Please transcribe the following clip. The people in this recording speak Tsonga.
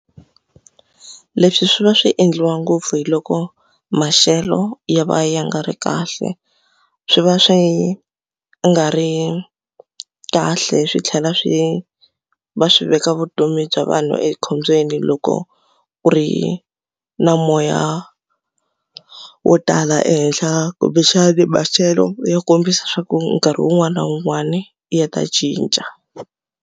Leswi swi va swi endliwa ngopfu hi loko maxelo ya va ya nga ri kahle swi va swi nga ri kahle swi tlhela swi va swi veka vutomi bya vanhu ekhombyeni loko ku ri na moya wo tala ehenhla kumbexana maxelo ya kombisa leswaku nkarhi wun'wani na wun'wani ya ta cinca.